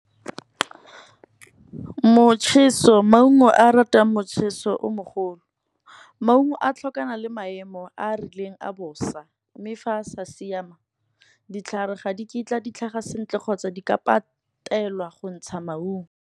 Motjheso maungo a ratang motjheso o mogolo, maungo a tlhokana le maemo a a rileng a bosa. Mme fa a sa siama ditlhare ga di kitla ditlhaga sentle, kgotsa di ka patelwa go ntsha maungo.